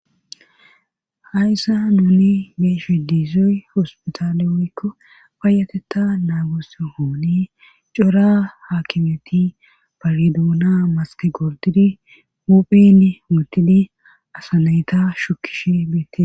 hayssa nuuli beeshe diizoy hospitaalie woykko fayatetta naagus hooni cora haakimeti payidouna maske gordidi muphen mutidi asanayta shukish beette